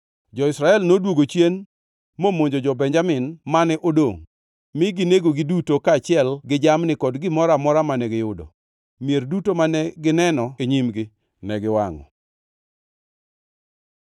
Jo-Israel noduogo chien momonjo jo-Benjamin mane odongʼ, mi ginegogi duto kaachiel gi jamni kod gimoro amora mane giyudo. Mier duto mane gineno e nyimgi ne giwangʼo.